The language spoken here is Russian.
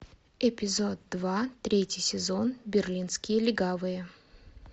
эпизод два третий сезон берлинские легавые